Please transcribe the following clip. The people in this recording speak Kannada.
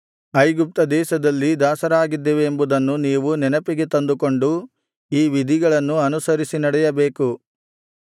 ಐಗುಪ್ತದೇಶದಲ್ಲಿ ದಾಸರಾಗಿದ್ದೆವೆಂಬುದನ್ನು ನೀವು ನೆನಪಿಗೆ ತಂದುಕೊಂಡು ಈ ವಿಧಿಗಳನ್ನು ಅನುಸರಿಸಿ ನಡೆಯಬೇಕು